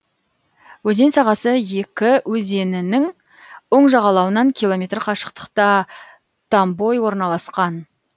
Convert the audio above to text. өзен сағасы екі өзенінің оң жағалауынан километр қашықтықта томбой орналасқан